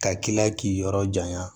Ka k'i la k'i yɔrɔ janya